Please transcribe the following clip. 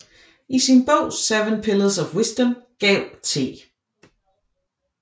I sin bog Seven Pillars of Wisdom gav T